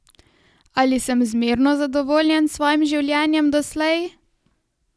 Ali sem zmerno zadovoljen s svojim življenjem doslej?